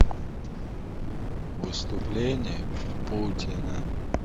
выступление путина